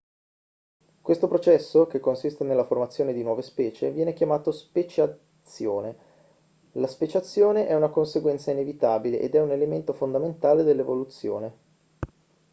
questo processo che consiste nella formazione di nuove specie viene chiamato speciazione la speciazione è una conseguenza inevitabile ed è un elemento fondamentale dell'evoluzione